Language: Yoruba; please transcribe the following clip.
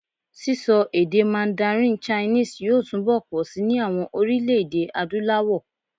Sísọ èdè mandarin chinese yóò túnbọ̀ pọ̀si ní àwọn orílẹ̀-èdè Adúláwọ̀.